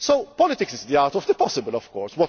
meat? Politics is the art of the possible, of